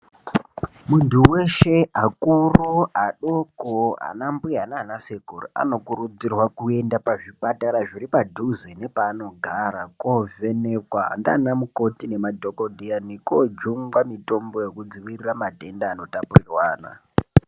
Muntu veshe akuru adoko ana mbuya nana sekuru anokurudzirwa kuenda pazvipatara zviri padhuze nepaanogara. Kovhenekwa ndiana mukoti nemadhogodheya nekojungwa mitombo yekudzirira matenda anotapurirwana.